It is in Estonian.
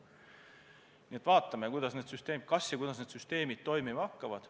Nii et vaatame, kuidas need süsteemid ja kas üldse toimima hakkavad.